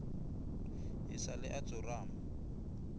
e sa le a tsorama